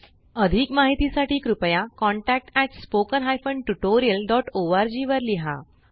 अधिक माहिती साठी कृपया contactspoken tutorialorg वर लिहा